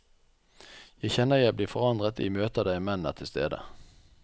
Jeg kjenner jeg blir forandret i møter der menn er til stede.